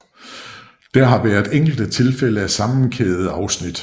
Der har været enkelte tilfælde af sammenkædede afsnit